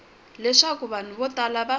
leswaku vanhu vo tala va